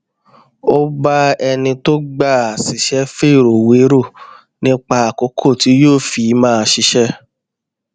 ó bá ẹni tó gbà á síṣé fèrò wérò nípa àkókò tí yóò fi máa ṣiṣé